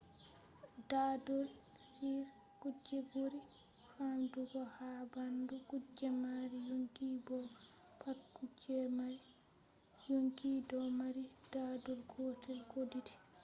dadol on kuje buri famdugo ha bandu kuje mari yonki bo pat kuje mari yonki do mari dadol gotel ko didi